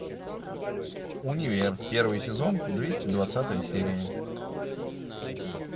универ первый сезон двести двадцатая серия